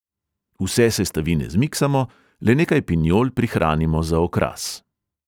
Vse sestavine zmiksamo, le nekaj pinjol prihranimo za okras.